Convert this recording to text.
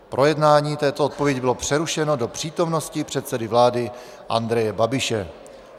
Projednávání této odpovědi bylo přerušeno do přítomnosti předsedy vlády Andreje Babiše.